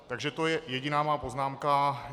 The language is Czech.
Takže to je jediná má poznámka.